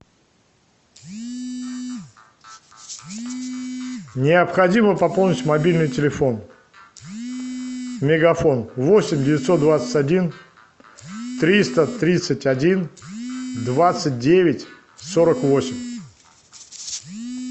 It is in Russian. необходимо пополнить мобильный телефон мегафон восемь девятьсот двадцать один триста тридцать один двадцать девять сорок восемь